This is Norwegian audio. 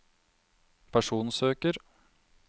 personsøker